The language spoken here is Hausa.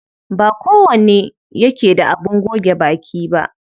Ba kowane yake da abin goge baki ba.